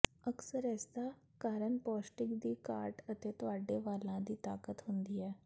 ਅਕਸਰ ਇਸਦਾ ਕਾਰਨ ਪੌਸ਼ਟਿਕ ਦੀ ਘਾਟ ਅਤੇ ਤੁਹਾਡੇ ਵਾਲਾਂ ਦੀ ਤਾਕਤ ਹੁੰਦੀ ਹੈ